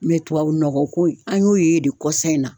tubabu nɔgɔ ko in, an y'o ye de kɔsan in na.